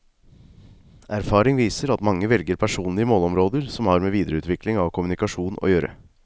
Erfaring viser at mange velger personlige målområder som har med videreutvikling av kommunikasjon å gjøre.